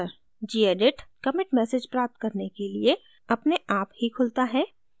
gedit commit message प्राप्त करने के लिए अपने आप ही खुलता है